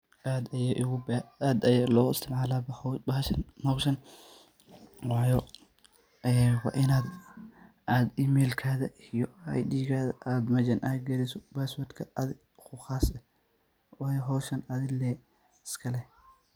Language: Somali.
Aad aya loo isticmaalasha bahashan wayo waa inad emailkaga iyo aidigaga ad mejan geliso baswadka adi kuu qaase wayo hoshan adi lee iska leh.